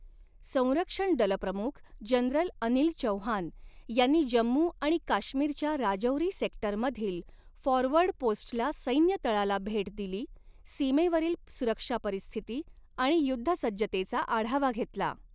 संरक्षण दलप्रमुख जनरल अनिल चौहान यांनी जम्मू आणि काश्मीरच्या राजौरी सेक्टरमधील फॉरवर्ड पोस्टला सैन्य तळाला भेट दिली, सीमेवरील सुरक्षा परिस्थिती आणि युद्धसज्जतेचा आढावा घेतला